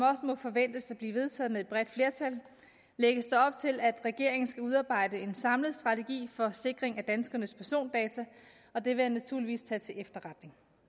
må forventes at blive vedtaget med et bredt flertal lægges der op til at regeringen skal udarbejde en samlet strategi for sikring af danskernes persondata og det vil jeg naturligvis tage til efterretning